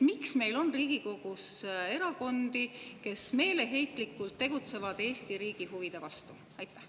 Miks meil on Riigikogus erakondi, kes meeleheitlikult tegutsevad Eesti riigi huvide vastu?